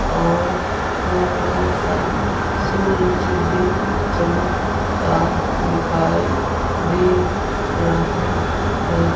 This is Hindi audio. और थोड़ा सा सूरज भी चमकता दिखाई दे रहा है।